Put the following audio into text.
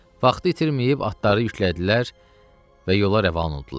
Vaxtı itirməyib atları yüklədilər və yola rəvan oldular.